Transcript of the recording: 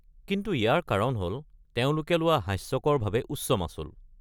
কিন্তু ইয়াৰ কাৰণ হ'ল তেওঁলোকে লোৱা হাস্যকৰভাৱে উচ্চ মাচুল।